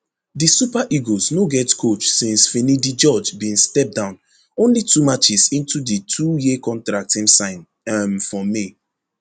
di super eagles no get coach since finidi george bin step down only two matches into di twoyear contract im sign um for may